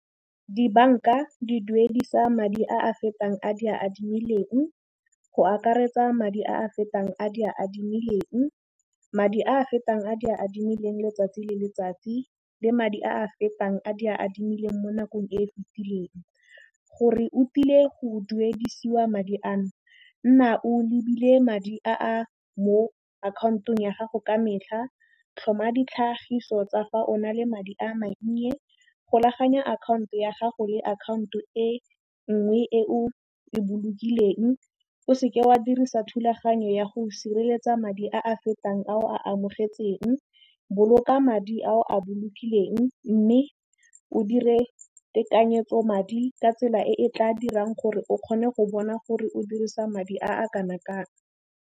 Dibanka di duedisa madi a a fetang a di a adimileng go akaretsa madi a a fetang a di a adimileng, madi a a fetang a di a adimileng letsatsi le letsatsi le madi a a fetang a di a adimileng mo nakong e e fetileng. Gore o tile go duedisiwa madi ano, nna o lebile madi a a mo akhaontong ya gago ka metlha, tlhoma ditlhagiso tsa fa o na le madi a mannye, golaganya akhanto ya gago le account-o e ngwe e o e bolokileng, o se ke wa dirisa thulaganyo ya go sireletsa madi a a fetang a o a amogetsweng, boloka madi a o a bolokileng mme o dire tekanyetso madi ka tsela e e tla dirang gore o kgone go bona gore o dirisa madi a kana kang.